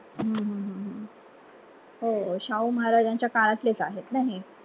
हम्म हम्म हम्म हो शाहू महाराजांच्या काळातलेच आहेत ना हे